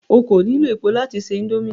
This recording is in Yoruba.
O ko nilo epo lati se indomie